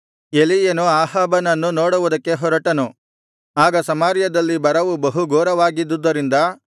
ಎಲೀಯನು ಅಹಾಬನನ್ನು ನೋಡುವುದಕ್ಕೆ ಹೊರಟನು ಆಗ ಸಮಾರ್ಯದಲ್ಲಿ ಬರವು ಬಹು ಘೋರವಾಗಿದ್ದುದರಿಂದ